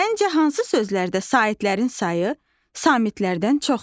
Səncə hansı sözlərdə saitlərin sayı samitlərdən çoxdur?